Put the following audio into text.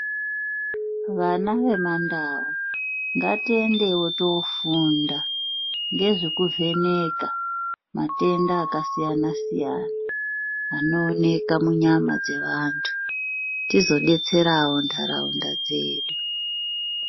Vana vemandau ngatiendewo tinofunda ngezvekuvheneka matenda akasiyana siyana anooneka munyama dzevantu tizobetserawo ntaraunda dzedu.